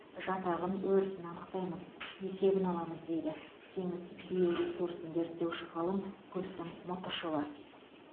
жатағын өрісін анықтаймыз есебін аламыз дейді теңіз биоресурсын зерттеуші ғалым гүлсім мұтышева